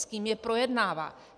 S kým je projednává.